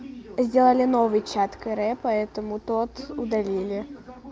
сделали новый чат каре поэтому тот удалили